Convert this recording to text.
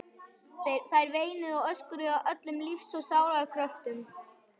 Þær veinuðu og öskruðu af öllum lífs og sálar kröftum.